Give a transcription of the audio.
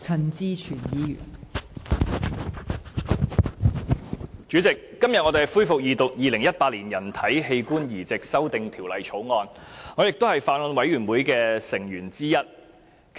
代理主席，我們今天要恢復《2018年人體器官移植條例草案》的二讀辯論，而我亦是法案委員會的成員之一。